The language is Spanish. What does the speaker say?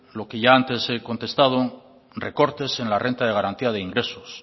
lo que ya antes he contestado recortes en la renta de garantía de ingresos